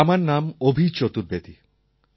আমার নাম অভি চতুর্বেদী